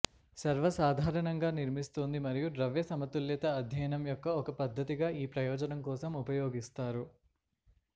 సర్వసాధారణంగా నిర్మిస్తోంది మరియు ద్రవ్య సమతుల్యత అధ్యయనం యొక్క ఒక పద్ధతిగా ఈ ప్రయోజనం కోసం ఉపయోగిస్తారు